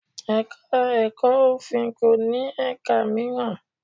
Ẹ̀ka-ẹ̀kọ́ òfin kò ní ẹ̀ka mìíràn.